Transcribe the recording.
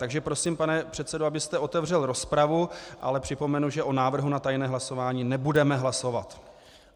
Takže prosím, pane předsedo, abyste otevřel rozpravu, ale připomenu, že o návrhu na tajné hlasování nebudeme hlasovat.